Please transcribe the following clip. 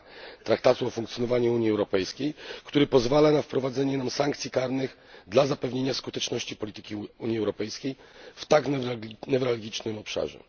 2 Traktatu o funkcjonowaniu Unii Europejskiej, który pozwala na wprowadzenie sankcji karnych dla zapewnienia skuteczności polityki Unii Europejskiej w tak newralgicznym obszarze.